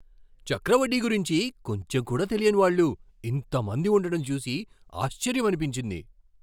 చక్రవడ్డీ గురించి కొంచెం కూడా తెలియని వాళ్ళు ఇంత మంది ఉండటం చూసి ఆశ్చర్యమనిపించింది.